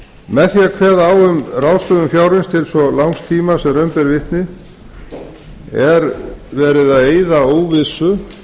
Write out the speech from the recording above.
með því að kveða á um ráðstöfun fjárins til svo langs tíma sem raun ber vitni er verið að eyða óvissu